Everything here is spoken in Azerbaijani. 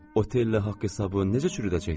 Otellə haqq-hesabı necə çürüdəcəksiz?